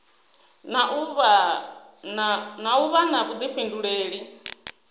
na u vha na vhuḓifhinduleli